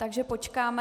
Takže počkáme...